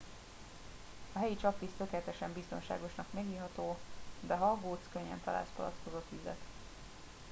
a helyi csapvíz tökéletesen biztonságosan megiható de ha aggódsz könnyen találsz palackozott vizet